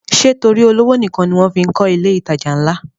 Ṣé torí olówó nìkan ni wọ́n fí ń kọ ilé ìtajà ńlá?